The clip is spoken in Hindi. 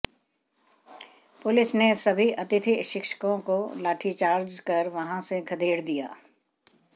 पुलिस ने सभी अतिथि शिक्षकों को लाठीचार्ज कर वहां से खदेड़ दिया